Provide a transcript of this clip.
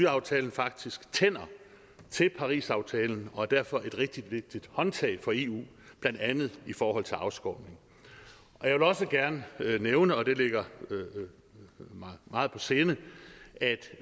aftalen faktisk tænder til parisaftalen og er derfor et rigtig vigtigt håndtag for eu blandt andet i forhold til afskovning jeg vil også gerne nævne og det ligger mig meget på sinde at